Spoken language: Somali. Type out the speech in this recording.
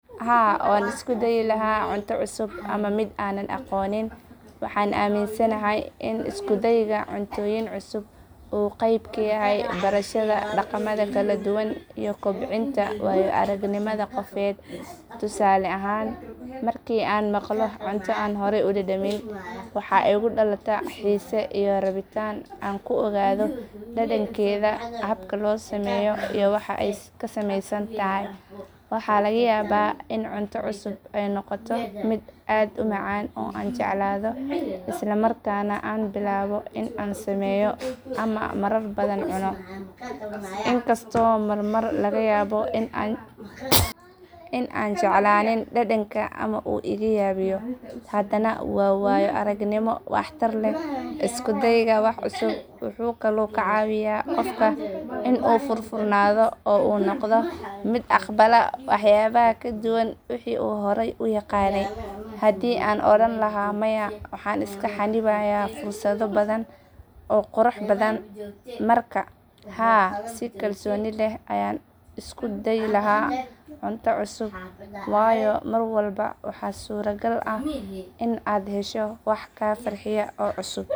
Haa, waan isku dayi lahaa cunto cusub ama miid aanan aqoonin. Waxaan aaminsanahay in isku dayga cuntooyin cusub uu qayb ka yahay barashada dhaqamada kala duwan iyo kobcinta waayo aragnimada qofeed. Tusaale ahaan, markii aan maqlo cunto aan horey u dhadhamin, waxaa igu dhalata xiise iyo rabitaan aan ku ogaado dhadhankeeda, habka loo sameeyo, iyo waxa ay ka samaysan tahay. Waxaa laga yaabaa in cunto cusub ay noqoto mid aad u macaan oo aan jeclaado, isla markaana aan bilaabo in aan sameeyo ama marar badan cuno. In kastoo marmar laga yaabo in aanan jeclaanin dhadhanka ama uu iga yaabiyo, haddana waa waayo aragnimo wax tar leh. Isku dayga wax cusub wuxuu kaloo ka caawiyaa qofka in uu furfurnaado oo uu noqdo mid aqbala waxyaabaha ka duwan wixii uu horay u yaqaanay. Hadii aan odhan lahaa maya, waxaan iska xannibayaa fursado badan oo qurux badan. Marka, haa, si kalsooni leh ayaan u isku dayi lahaa cunto cusub, waayo mar walba waxaa suuragal ah in aad hesho wax kaa farxiya oo cusub.